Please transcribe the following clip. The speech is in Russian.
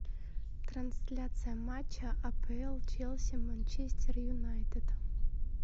трансляция матча апл челси манчестер юнайтед